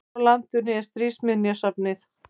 Hvar á landinu er Stríðsminjasafnið?